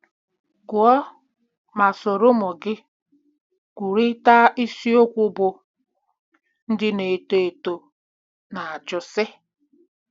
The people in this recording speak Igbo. gụọ ma soro ụmụ gị kwurịta isiokwu bụ́ " Ndị Na-eto Eto Na-ajụ Sị...